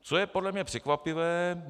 Co je podle mě překvapivé.